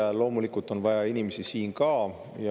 Kriisi ajal on vaja inimesi loomulikult siin ka.